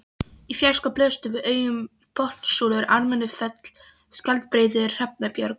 Í fjarska blöstu við augum Botnssúlur, Ármannsfell, Skjaldbreiður, Hrafnabjörg